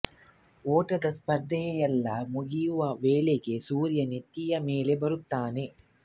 ಓಟದ ಸ್ಪರ್ಧೆಯೆಲ್ಲಾ ಮುಗಿಯುವ ವೇಳೆಗೆ ಸೂರ್ಯ ನೆತ್ತಿಯ ಮೇಲೆ ಬರುತ್ತಾನೆ